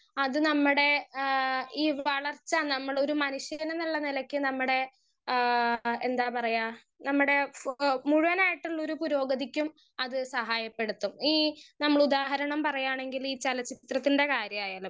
speaker 1 അത് നമ്മടെ ഏഹ് ഈ വളർച്ച നമ്മൊളൊരു മനുഷ്യനെന്നുള്ള നെലക്ക് നമ്മടെ ഏഹ് എന്താ പറയാ നമ്മുടെ ഫോ മുഴുവനായിട്ടും ഒരു പുരോഗതിക്കും അത് സഹായപ്പെടുത്തും ഈ നമ്മൾ ഉദാഹരണം പറയാണെങ്കിൽ ഈ ചെലചിത്രത്തിന്റെ കാര്യായായാലും